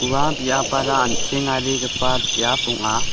ua biapara an·chengarigipa biap ong·a.